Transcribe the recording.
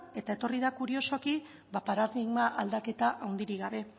eta etorri da kuriosoki paradigma aldaketa handirik gabe